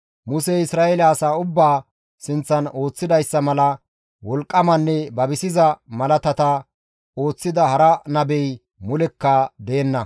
Musey Isra7eele asaa ubbaa sinththan ooththidayssa mala wolqqamanne babisiza malaatata ooththida hara nabey mulekka deenna.